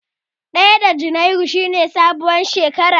Ɗaya ga junairu shi ne sabuwar shekara.